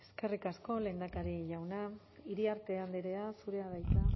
eskerrik asko lehendakari jauna iriarte andrea zurea da hitza